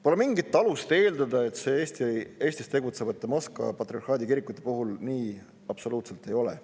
Pole mingit alust eeldada, et see Eestis tegutsevate Moskva patriarhaadi kirikute puhul nii absoluutselt ei ole.